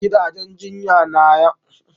Gidajen jinya yana bayar kula na sirri da likita.